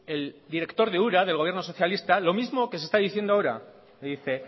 el director de ura del gobierno socialista lo mismo que se está diciendo ahora le dice